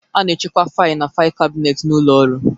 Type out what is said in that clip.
A na-echekwa fail na fail kabinet n'ụlọ ọrụ